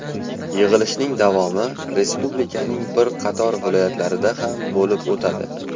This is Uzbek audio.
Yig‘ilishning davomi Respublikaning bir qator viloyatlarida ham bo‘lib o‘tadi.